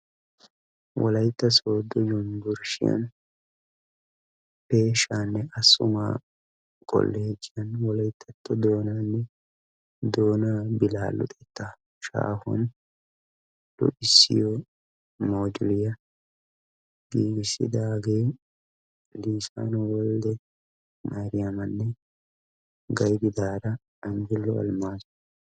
wolaytta sodo unuburustiyani eeshane assumaa kollogiyani wolayttato doona billa luxxetta mojjuliya gigisidagettikka lisanu wolde mariyamane gaydidara anjulo almazo.